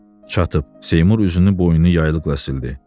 Çatdıb, Seymur üzünü boynunu yaylıqla sildi.